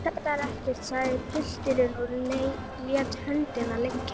Iss, þetta er ekkert, sagði pilturinn og lét höndina liggja.